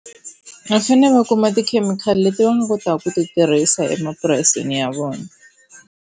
Va fanele va kuma tikhemikhali leti va nga kotaka ku ti tirhisa emapurasini ya vona.